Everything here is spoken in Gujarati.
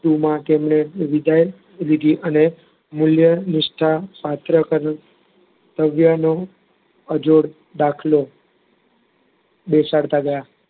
એમાં તેમણે વિધાન વિધી અને મૂલ્ય, નિષ્ઠા પાત્ર કરવું ભવ્યનો અજોડ દાખલ બેસાડતા ગયા.